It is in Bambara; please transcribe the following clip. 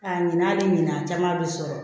A ɲinan ni ɲinan a caman bɛ sɔrɔ